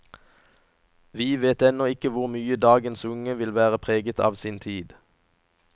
Vi vet ennå ikke hvor mye dagens unge vil være preget av sin tid.